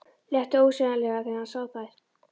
Létti ósegjanlega þegar hann sá þær.